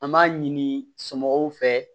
An b'a ɲini somɔgɔw fɛ